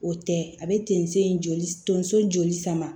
O tɛ a bɛ tonso in joli tonso joli sama